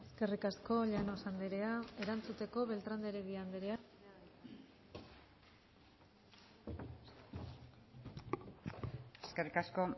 eskerrik asko llanos andrea erantzuteko beltrán de heredia andrea eskerrik asko